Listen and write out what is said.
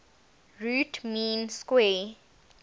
root mean square